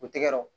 U tɛgɛ don